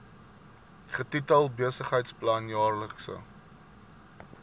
getitel besigheidsplan jaarlikse